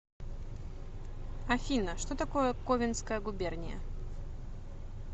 афина что такое ковенская губерния